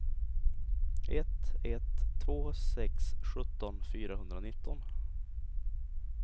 ett ett två sex sjutton fyrahundranitton